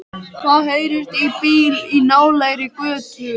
Það heyrist í bíl í nálægri götu.